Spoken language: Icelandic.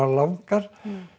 langar